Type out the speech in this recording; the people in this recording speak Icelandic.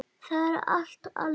Það er allt annað.